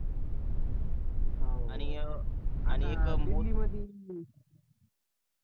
आणि